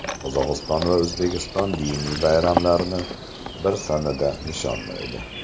Qozog‘iston va O‘zbekiston diniy bayramlarni bir sanada nishonlaydi.